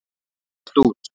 Ég datt út.